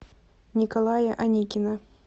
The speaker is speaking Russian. николая аникина